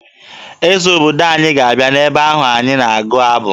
Eze obodo anyị ga-abịa n'ebe ahụ anyị na-agụ abụ